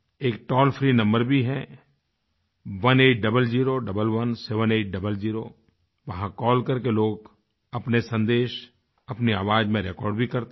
एक toll free number भी है 1800117800 वहाँ कॉल करके लोग अपने सन्देश अपनी आवाज़ में रेकॉर्ड भी करते हैं